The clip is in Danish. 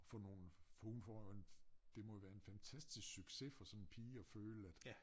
For nogen for hun får jo en det må jo være en fantastisk success for sådan en pige at føle at